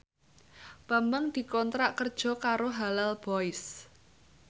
Bambang dikontrak kerja karo Halal Boys